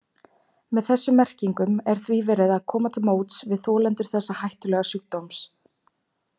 Með þessum merkingum er því verið að koma til móts við þolendur þessa hættulega sjúkdóms.